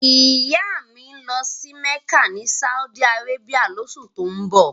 Ìyá mi ń lọ sí Mẹ́kà ni Saudi Arabia lóṣù tó ń bọ̀